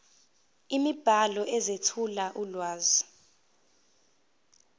imibhalo ezethula ulwazi